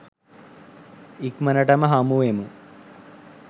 ඉක්මනටම හමුවෙමු